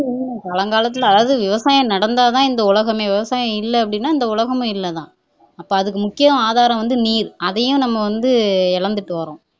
பழங்காலத்துல அதாவது விவசாயம் நடந்தாதான் இந்த உலகமே விவசாயம் இல்லை அப்படின்னா இந்த உலகமும் இல்லை தான் அப்போ அதுக்கு முக்கிய ஆதாரம் வந்து நீர் அதையும் நம்ம வந்து இழந்துட்டு வர்றோம்